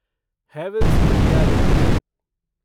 Havells India limited